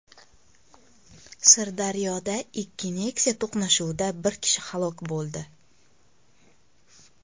Sirdaryoda ikki Nexia to‘qnashuvida bir kishi halok bo‘ldi.